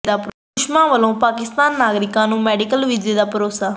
ਸੁਸ਼ਮਾ ਵੱਲੋਂ ਪਾਕਿ ਨਾਗਰਿਕ ਨੂੰ ਮੈਡੀਕਲ ਵੀਜ਼ੇ ਦਾ ਭਰੋਸਾ